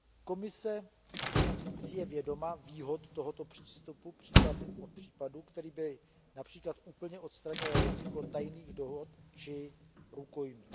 Komise si je vědoma výhod tohoto přístupu případ od případu, který by např. úplně odstranil riziko tajných dohod či rukojmí.